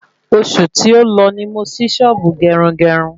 Osù tí o lọ ni mo sì Sọ́ọ́bù Gerungerun